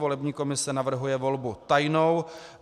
Volební komise navrhuje volbu tajnou.